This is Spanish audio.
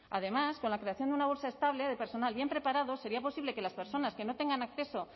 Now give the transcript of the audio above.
además con la creación de una bolsa estable de personal bien preparado sería posible que las personas que no tengan acceso